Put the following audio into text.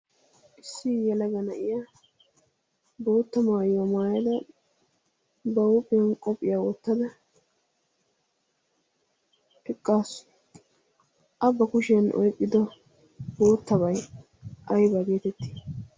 issi iyalagana iya boottamaayyo maaala ba huuphiyan qophphiyaa woottada piqqaassu a ba kushiyan oihpido boottabai aybaa geetettii?